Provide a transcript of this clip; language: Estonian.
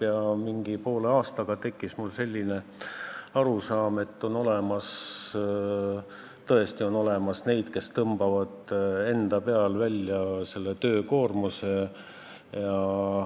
Ja mingi poole aastaga tekkis mul selline arusaam, et on olemas – tõesti on olemas – neid, kes tõmbavad enda peale põhilise töökoormuse.